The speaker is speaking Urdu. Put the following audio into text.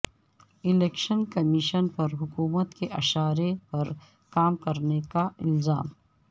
الیکشن کمیشن پر حکومت کے اشارے پر کام کرنے کا الزام